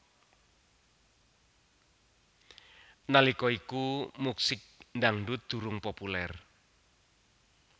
Nalika iku musik dangsut durung populer